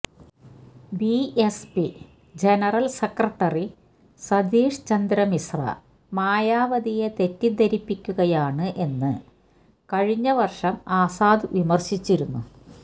B S P general secretary Satish Chandra Mishra മായാവതിയെ തെറ്റിദ്ധരിപ്പിക്കുകയാണ് എന്ന് കഴിഞ്ഞ വര്ഷം ആസാദ് വിമര്ശിച്ചിരുന്നു